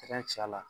la